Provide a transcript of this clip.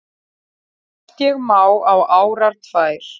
Oft ég má á árar tvær